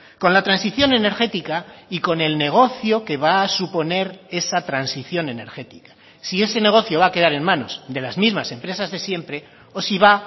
con la transición energética y con el negocio que va a suponer esa transición energética si ese negocio va a quedar en manos de las mismas empresas de siempre o si va